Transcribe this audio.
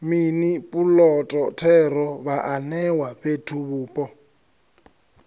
mini puloto thero vhaanewa fhethuvhupo